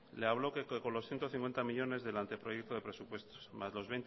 le habló que con los ciento cincuenta millónes del anteproyecto de presupuestos más los